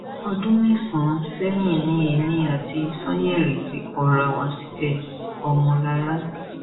ọdún mẹsànán sẹyìn ni èmi àti sanyeri ti kọra wa sílẹọmọlára